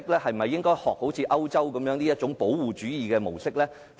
是否應該學習歐洲的保護主義模式？